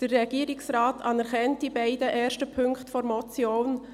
Der Regierungsrat anerkennt die beiden ersten Punkte der Motion.